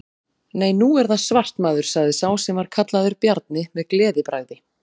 Nei, nú er það svart maður, sagði sá sem var kallaður Bjarni, með gleðibragði.